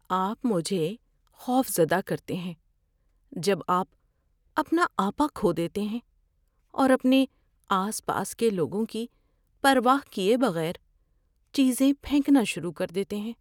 آپ مجھے خوفزدہ کرتے ہیں جب آپ اپنا آپا کھو دیتے ہیں اور اپنے آس پاس کے لوگوں کی پرواہ کیے بغیر چیزیں پھینکنا شروع کر دیتے ہیں۔